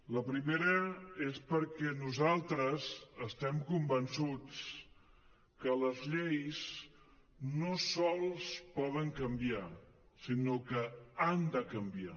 la primera és perquè nosaltres estem convençuts que les lleis no sols poden canviar sinó que han de canviar